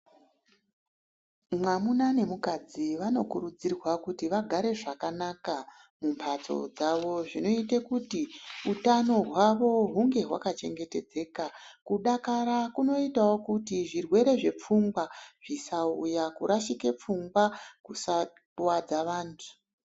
Mwamuna nemukadzi vanokurudzirwa kuti vagare zvakanaka mumhatso dzavo, zvinoita kuti utano hwavo hunge hwakachengetedzeka. Kudakara kunoitawo kuti zvirwere zvepfungwa zvisauya, kurashike pfungwa kusakuvadze vantu.